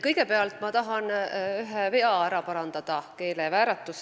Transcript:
Kõigepealt ma tahan ära parandada ühe vea, keelevääratuse.